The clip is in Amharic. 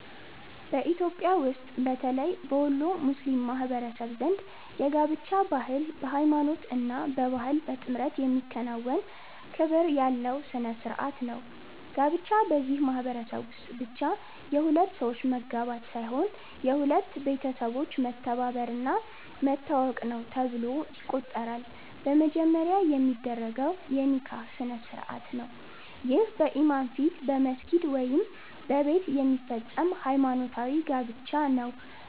በኢትዮጵያ ውስጥ በተለይ በወሎ ሙስሊም ማህበረሰብ ዘንድ የጋብቻ ባህል በሃይማኖት እና በባህል በጥምረት የሚከናወን ክብር ያለው ሥነ ሥርዓት ነው። ጋብቻ በዚህ ማህበረሰብ ውስጥ ብቻ የሁለት ሰዎች መጋባት ሳይሆን የሁለት ቤተሰቦች መተባበር እና መተዋወቅ ነው ተብሎ ይቆጠራል። በመጀመሪያ የሚደረገው የ“ኒካህ” ስነ-ሥርዓት ነው። ይህ በኢማም ፊት በመስጊድ ወይም በቤት የሚፈጸም ሃይማኖታዊ ጋብቻ ነው።